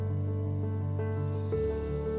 Qonaq şəhərin baş planı ilə tanış oldu.